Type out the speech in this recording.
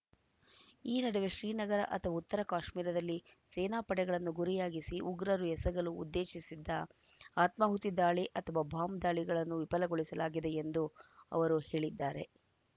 ಈ ನಡುವೆ ಶ್ರೀನಗರ ಅಥವಾ ಉತ್ತರ ಕಾಶ್ಮೀರರಲ್ಲಿ ಸೇನಾ ಪಡೆಗಳನ್ನು ಗುರಿಯಾಗಿಸಿ ಉಗ್ರರು ಎಸಗಲು ಉದ್ದೇಶಿಸಿದ್ದ ಆತ್ಮಾಹುತಿ ದಾಳಿ ಅಥವಾ ಬಾಂಬ್‌ ದಾಳಿಗಳನ್ನು ವಿಪಗೊಳಿಸಲಾಗಿದೆ ಎಂದು ಅವರು ಹೇಳಿದ್ದಾರೆ